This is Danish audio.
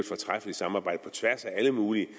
fortræffeligt samarbejde på tværs af alle mulige